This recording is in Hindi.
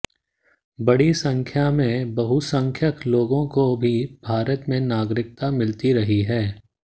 बड़ी संख्या में बहुसंख्यक लोगों को भी भारत में नागरिकता मिलती रही है